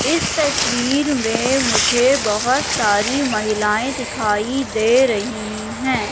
इस तस्वीर में मुझे बहोत सारी महिलाएं दिखाई दे रही हैं।